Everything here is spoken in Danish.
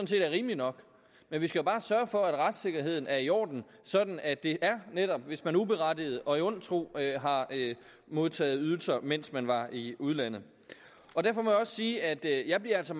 set er rimelig nok men vi skal bare sørge for at retssikkerheden er i orden sådan at det er netop hvis man uberettiget og i ond tro har modtaget ydelser mens man var i udlandet derfor må jeg også sige at jeg altså